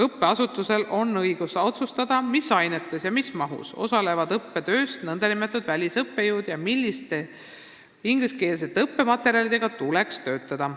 Õppeasutusel on õigus otsustada, mis ainetes ja mis mahus osalevad õppetöös välisõppejõud ja milliste ingliskeelsete õppematerjalidega tuleks üliõpilastel töötada.